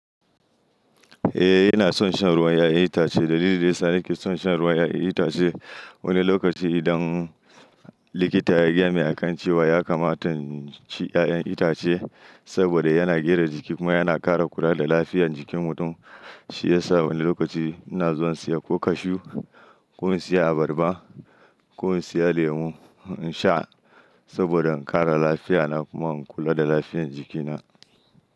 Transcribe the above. Eh, ina son shan ruwan 'ya'yan itace. Dalilin da ya sa nake son shan ruwan 'ya'yan itace wani lokaci idan likita ya gaya mini a kan cewa ya kamata na ci 'ya'yan itace saboda yana gara jiki kuma yana ƙara kula da lafiyar jikin mutum, shi ya sa wani lokaci ina zuwa in siya ko cashew ko in siya abarba ko in siya lemu in sha saboda in ƙara lafiya na kuma in kula da lafiyar jikina.